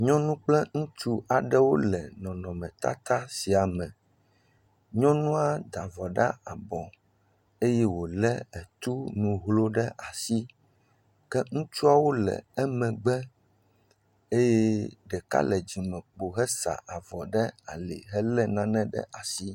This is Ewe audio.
Nyunu kple ŋutsu wole nɔnɔme tata sia me. Nyɔnua da avɔ ɖe abɔ eye wòle tu nuxlɛ ɖe asi ke ŋutsuwo le emegbe eye ɖeka le ŋgɔ wò he sa avoo hele nane ɖe asi.